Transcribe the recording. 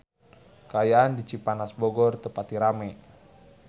Kaayaan di Cipanas Bogor teu pati rame